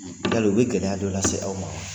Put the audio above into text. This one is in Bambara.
Yali u bɛ gɛlɛya do lase aw ma wa?